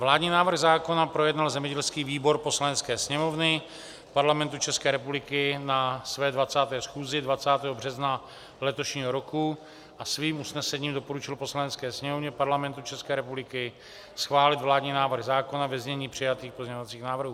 Vládní návrh zákona projednal zemědělský výbor Poslanecké sněmovny Parlamentu České republiky na své 20. schůzi 20. března letošního roku a svým usnesením doporučil Poslanecké sněmovně Parlamentu České republiky schválit vládní návrh zákona ve znění přijatých pozměňovacích návrhů.